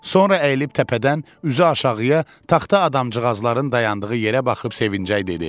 Sonra əyilib təpədən üzü aşağıya, taxta adamcıqazların dayandığı yerə baxıb sevincək dedi: